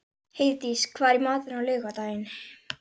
Hann er ekki farinn að borða barnamat, afi.